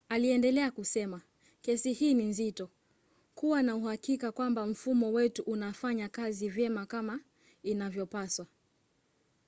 aliendelea kusema kesi hii ni nzito. kuwa na uhakika kwamba mfumo wetu unafanya kazi vyema kama inavyopaswa.